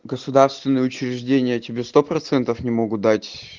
государственные учреждения тебе сто процентов не могу дать